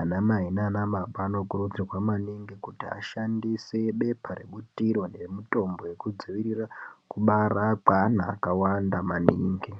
anamai nanababa anokurudzirwe maningi kuti ashandise bepa rebutiro nemutombo yekudzivirira kubara kweana akawanda maningi.